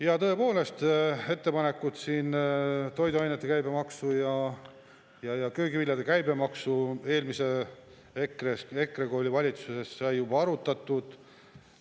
Ja tõepoolest, ettepanekut siin toiduainete käibemaksu, sealhulgas köögiviljade käibemaksu kohta sai siis, kui EKRE oli valitsuses, juba arutatud.